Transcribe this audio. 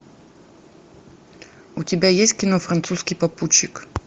у тебя есть кино французский попутчик